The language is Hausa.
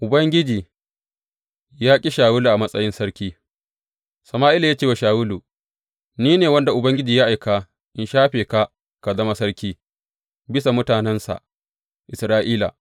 Ubangiji ya ƙi Shawulu a matsayin sarki Sama’ila ya ce wa Shawulu, Ni ne wanda Ubangiji ya aika in shafe ka ka zama sarki bisa mutanensa Isra’ila.